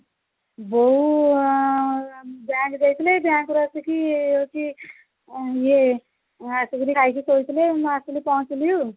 ବୋଉ ଉଁ bank ଯାଇଥିଲେ bank ରୁ ଆସିକି ହଉଚି ଇଏ ଆସି କିରି ଖାଇକି ଶୋଇଥିଲେ ମୁଁ ଆସିକି ପହଞ୍ଚିଲି ଆଉ